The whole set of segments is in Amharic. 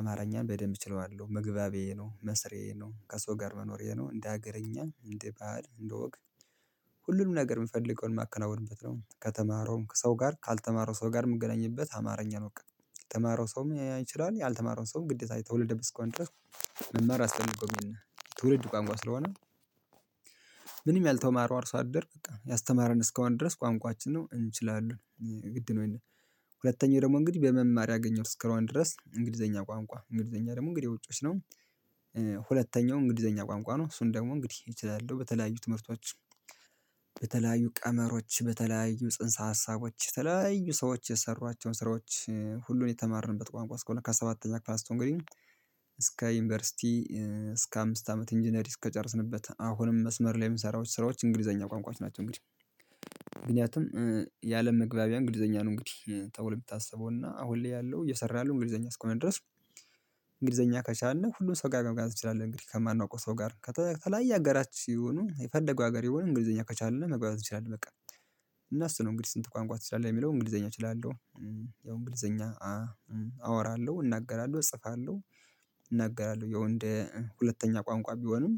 አማርኛን በደንብ እችለዋለሁ መግባቤ ነው መስሪዬ ነው ከሰው ጋር መኖሬ ነው እንደ ሀገረኛ እንደ ባዕድ እንደ ወግ። ሁሉንም ነገር የምፈልገውን የማከናውንበት ነው ከተማረውም ከሰው ጋር ካልተማረው ሰው ጋር የምገናኝበት አማርኛ ነው በቃ። የተማረው ሰው ያን ይችላል ያልተማረው ሰው ግዴታ የተወለደበት እስኳን ድረስ መማር አስቀመጠው ትውልድ ቋንቋ ስለሆነ። ያልተማረው አርሶ አደር በቃ ያስተማረን እስከሆነ ድረስ ቋንቋችን ነው እንችላለን ግድ ነው ይሄንን። ሁለተኛው ደግሞ እንግዲህ በመማር ያገኘው ስክራዋን ድረስ እንግሊዘኛ ቋንቋ እንግሊዘኛ ደግሞ እንግዲህ ውጪዎች ነው። እንግዲህ ዘኛ ቋንቋ ነው እሱን ደግሞ እንግዲህ እችላለሁ በተለያዩ ትምህርቶች። በተለያዩ ቀመሮች በተለያዩ ጽንሰ ሀሳቦች የተለያዩ ሰዎች የሰሯቸውን ስራዎች ሁሉን የተማርንበት ቋንቋ እስከሆነ ከሰባተኛ ክላስ እንግዲህ። እስከ ዩኒቨርሲቲ እስከ አምስት አመት ኢንጂነሪ እስከጨረስንበት አሁንም መስመር ላይ የምሰራዎች ስራዎች እንግሊዘኛ ቋንቋች ናቸው። እንግዲህ ምክንያቱም ያአለም መግባቢያ እንግሊዘኛ ነው እንግዲህ ተብሎ የምታስበው እና አሁን ላይ ያለው እየሰራ ያለው እንግሊዘኛ እስኮነድረስ። እንግሊዘኛ ከቻልን ሁሉም ሰው ጋር መጋጋት እንችላለን እንግዲህ ከማናውቀው ሰው ጋር ከተገለገለ ሀገራት ሲሆኑ የፈደገው ሀገሬ ሆነ እንግሊዘኛ ከቻልን መግባባት ይችላል በቃ። እና እሱ ነው እንግዲህ ስንት ቋንቋ ትችላለህ የሚለው እንግሊዘኛ እችላለሁ። ያው እንግሊዘኛ አወራለሁ እናገራለሁ እጽፋለሁ። እናገራለሁ ይኸው እንደ ሁለተኛ ቋንቋ ቢሆኑም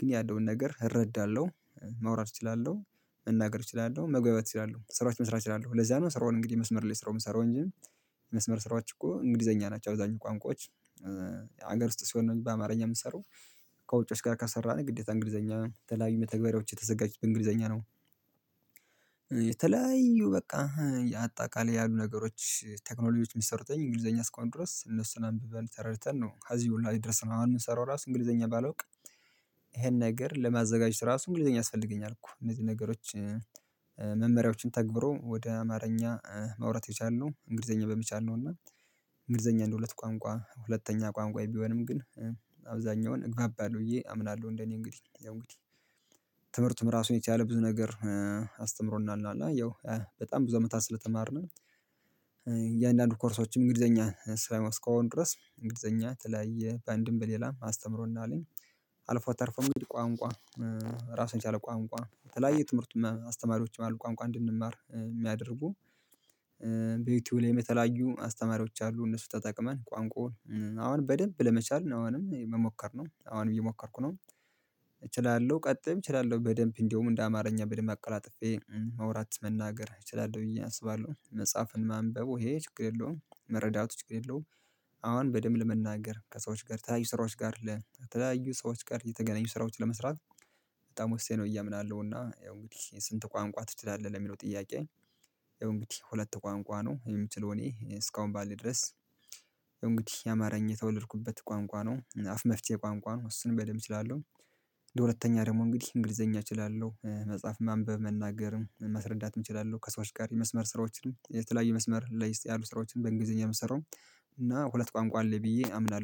ግን ያለውን ነገር እረዳለሁ። መውራት እችላለሁ መናገር እችላለሁ መግባባት እችላለሁ ስራዎች መስራት ይላሉ ለዛ ነው ስራውን እንግዲህ መስመር ላይ ስራውን ሰራው እንጂ። መስመር ስራዎች እኮ እንግሊዘኛ ናቸው አብዛኛው ቋንቋዎች። ሀገር ውስጥ ሲሆን ነው በአማርኛ የምትሰሩት። ከውጪዎች ጋር ካሰራን ግዴታ እንግሊዘኛ ተፈላጊ መተግበሪያዎች የተዘጋጅች እንግሊዘኛ ነው። የተለያዩ በቃ። አጠቃላይ ያሉ ነገሮች ቴክኖሎጂዎች የሚሰሩትኝ እንግሊዘኛ ስኳንድሮስ እነሱን አንብበን ተረድተን ነው ከዚህ ሁሉ አይደርስም አሁን የምንሰራው ራሱ እንግሊዘኛ ባላውቅ። ይሄን ነገር ለማዘጋጀት ራሱ እንግሊዘኛ ያስፈልገኛል እኮ እነዚህ ነገሮች። መመሪያዎችን ተግብሮ ወደ አማርኛ ማውራት የቻልነው እንግሊዘኛ በሚቻል ነው እና። እንግሊዘኛ እንደሁለት ቋንቋ ሁለተኛ ቋንቋዬ ቢሆንም ግን። አብዛኛውን እግባባለሁ ብዬ አምናለሁ እንደኔ እንግዲህ እንግዲህ ትምህርቱም ራሱ የቻለ ብዙ ነገር አስተምሮና እና ያው በጣም ብዙ አመታት ስለተማርን። እያንዳንዱ ኮርሶችም እንግሊዘኛ ስራዎች እስከሆኑ ድረስ እንግሊዘኛ ተለያየ በአንድም በሌላ አስተምሮና አለኝ። አልፎ አተርፎ እንግዲህ ቋንቋ ራሱን ራስን ቻለ ቋንቋ የተለያየ ትምህርት አስተማሪዎች ማለት ቋንቋ እንድንማር የሚያደርጉ። በዩቲዩብ ላይም የተለያዩ አስተማሪዎች አሉ እነሱ ተጠቅመን ቋንቋውን አሁን በደንብ ለመቻል አሁንም መሞከር ነው አሁን ብዬ ሞከርኩ ነው። እችላለሁ ቀጥም እችላለሁ በደንብ እንደውም እንደ አማርኛ በደንብ አቀራጥፌ መውራት መናገር እችላለሁ ብዬ አስባለሁ መጽሐፍን ማንበቡ ይሄ ችግር የለውም መረዳቱ ችግር የለውም። አሁን በደንብ ለመናገር ከሰዎች ጋር ተለያዩ ስራዎች ጋር ለተለያዩ ሰዎች ጋር የተገናኙ ስራዎች ለመስራት። በጣም ወስጄ ነው እያምናለሁ እና ያው እንግዲህ ስንት ቋንቋ ትችላለህ ለሚለው ጥያቄ? ያው እንግዲህ ሁለት ቋንቋ ነው የምችለው እኔ እስካሁን ባልደረስ። እንግዲህ የአማርኛ የተወለድኩበት ቋንቋ ነው አፍ መፍትሄ ቋንቋ ነው እሱንም በደንብ እችላለሁ ደግሞ እንግዲህ እንግሊዘኛ እችላለሁ መጽሐፍ ማንበብ መናገርም መረዳትም እችላለሁ ከሰዎች ጋር የመስመር ስራዎችን የተለያየ መስመር ላይ ያሉ ስራዎችን በእንግሊዘኛ የምሰራውም። እና ሁለት ቋንቋ አለ ብዬ አምናለሁ